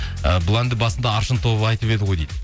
і бұл әнді басында аршын тобы айтып еді ғой дейді